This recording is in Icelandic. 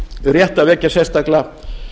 rétt að vekja sérstaklega